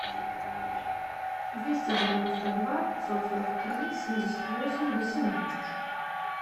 двести девяносто два пятьсот сорок три семьдесят восемь восемнадцать